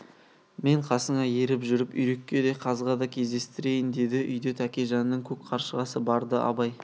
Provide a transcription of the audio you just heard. мен қасыңа еріп жүріп үйрекке де қазға да кездестірейін деді үйде тәкежанның көк қаршығасы бар-ды абай